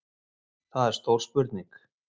Það er stór spurning